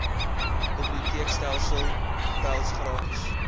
biblioteekstelsel cpals gratis